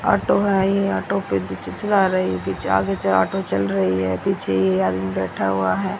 Auto भाई है ये ऑटो पे चि चिल्ला रही पीछे आगे से ऑटो चल रही है पीछे ये आदमी बैठा हुआ है।